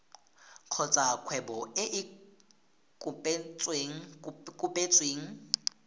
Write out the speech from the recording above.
kgotsa kgwebo e e kopetsweng